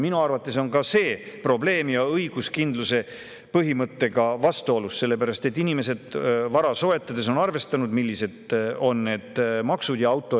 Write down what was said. Minu arvates on see probleem ja see on õiguskindluse põhimõttega vastuolus, sellepärast et inimesed on endale vara soetades arvestanud, millised on maksud.